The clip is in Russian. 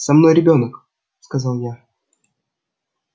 со мной ребёнок сказал я